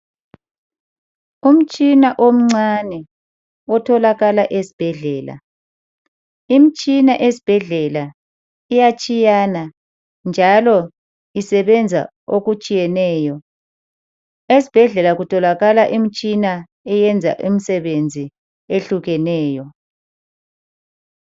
Umtshina omncane otholakala esibhedlela. Imitshina esibhedlela iyatshiyana njalo isebenza okutshiyeneyo. Esibhedlela kutholakala imitshina eyenza imisebenzi ehlukeneyo.